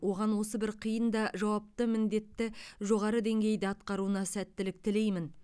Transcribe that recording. оған осы бір қиын да жауапты міндетті жоғары деңгейде атқаруына сәттілік тілеймін